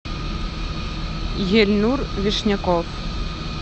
ельнур вишняков